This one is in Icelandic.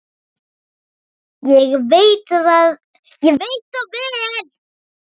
Ég veit það vel!